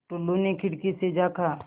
टुल्लु ने खिड़की से झाँका